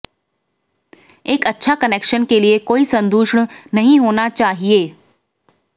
एक अच्छा कनेक्शन के लिए कोई संदूषण नहीं होना चाहिए